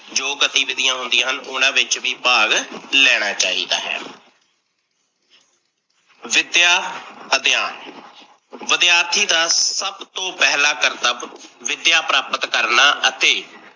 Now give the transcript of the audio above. ਜੋ ਗਤੀਵੀਧੀਆ ਹੁੰਦੀਆ ਹਨ, ਉਨਾਂ ਵਿੱਚ ਵੀ ਭਾਗ ਲੈਣਾ ਚਾਹੀਦਾ ਹੈ। ਵਿਦਿਆ ਅਧਿਆਨ, ਵਿਦਿਆਰਥੀ ਦਾ ਸੱਭ ਤੋਂ ਪਹਿਲਾਂ ਕਰਤਬ ਵਿਦਿਆ ਪ੍ਰਾਪਤ ਕਰਨਾ ਅਤੇ